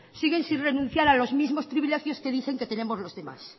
siguen sin renunciar a los mismos privilegios que dicen que tenemos los demás